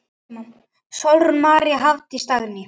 Sólrún María, Hafdís og Dagný.